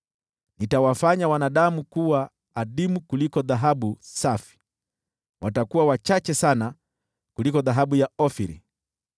Nitawafanya wanadamu kuwa adimu kuliko dhahabu safi, watakuwa wachache sana kuliko dhahabu ya Ofiri.